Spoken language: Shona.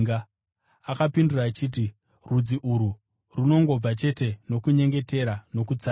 Akapindura achiti, “Rudzi urwu runongobva chete nokunyengetera nokutsanya.”